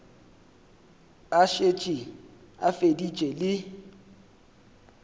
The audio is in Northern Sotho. a šetše a feditše le